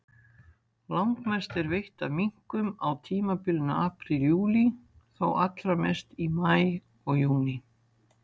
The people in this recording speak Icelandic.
Langmest er veitt af minkum á tímabilinu apríl-júlí, þó allra mest í maí og júní.